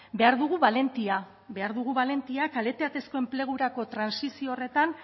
behar dugu balentia behar dugu balentia kalitatezko enplegurakotrantsizio horretan